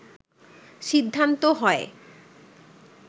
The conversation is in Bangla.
সিদ্ধান্ত হয়